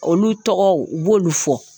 Olu tɔgɔ u b'olu fɔ